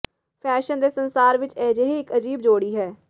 fashion ਦੇ ਸੰਸਾਰ ਵਿੱਚ ਅਜਿਹੇ ਇੱਕ ਅਜੀਬ ਜੋੜੀ ਹੈ